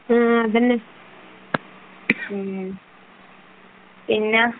ഉമ്മ അതന്നെ , പിന്നെ